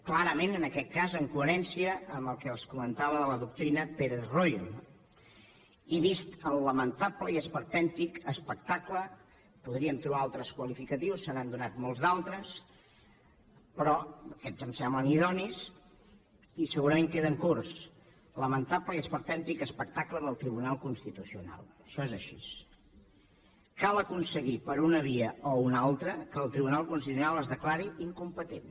clarament en aquest cas en coherència amb el que els comentava de la doctrina pérez royo no i vist el lamentable i esperpèntic espectacle podríem trobar altres qualificatius se n’han donat molts d’altres però aquests em semblen idonis i segurament queden curts lamentable i esperpèntic espectacle del tribunal constitucional això és així cal aconseguir per una via o una altra que el tribunal constitucional es declari incompetent